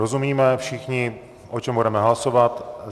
Rozumíme všichni, o čem budeme hlasovat.